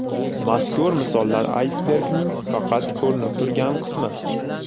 Mazkur misollar aysbergning faqat ko‘rinib turgan qismi.